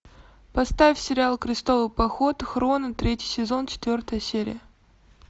поставь сериал крестовый поход хроно третий сезон четвертая серия